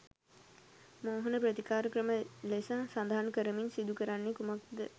මෝහන ප්‍රතිකාර ක්‍රම ලෙස සඳහන් කරමින් සිදු කරන්නේ කුමක්ද?